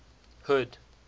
hood